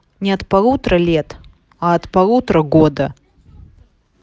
нет от полутора лет от полутора года